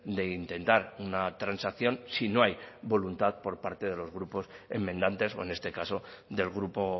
de intentar una transacción si no hay voluntad por parte de los grupos enmendantes o en este caso del grupo